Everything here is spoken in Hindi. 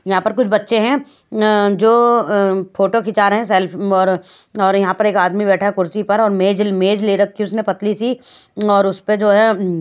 यहां पर कुछ बच्चे हैं अह जो अह फोटो खींच रहे हैं सेल्फ और और यहां पर एक आदमी बैठा कुर्सी पर और मेज मेज ले रखी उसने पतली सी और उस पे जो है--